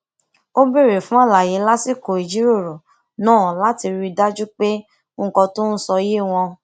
ó béèrè fún àlàyé lásìkò ìjíròrò náà láti rí i dájú pé nnkan tó n sọ yé wọn